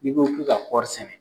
N'i ko ki ka kɔri sɛnɛ.